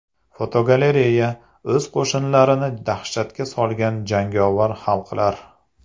Fotogalereya: O‘z qo‘shnilarini dahshatga solgan jangovar xalqlar.